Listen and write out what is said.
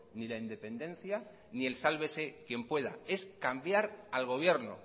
ni la independencia ni el sálvese quien pueda es cambiar al gobierno